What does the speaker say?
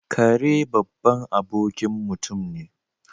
Kare babban abokin mutum ne.